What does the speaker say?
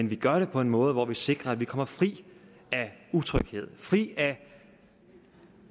vi gør det på en måde hvor vi sikrer at man kommer fri af utryghed fri af